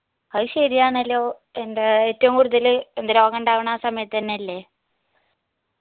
അഹ് ശെരിയാണല്ലോ എന്റെ ഏറ്റവും എന്ത് രോഗാഉണ്ടാവണ ആ സമയത്തെന്നെയല്ലേ